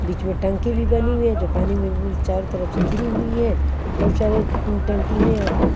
बीच में टंकी भी बनी हुई है जो पानी में चारों तरह से घिरी हुई है बहुत सारे टंकी है यहां पे।